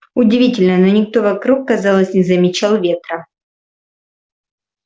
удивительно но никто вокруг казалось не замечал ветра